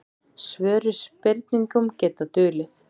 Svör við spurningum geta dulið.